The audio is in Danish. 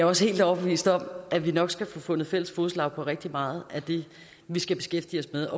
også helt overbevist om at vi nok skal få fundet fælles fodslag rigtig meget af det vi skal beskæftige os med